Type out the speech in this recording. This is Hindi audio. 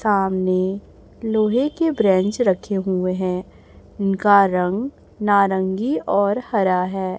सामने लोहे के ब्रेंच रखे हुए हैं उनका रंग नारंगी और हरा है।